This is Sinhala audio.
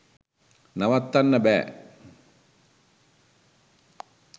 නවත්තන්න බෑ